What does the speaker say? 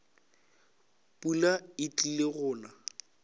pula e tlile go na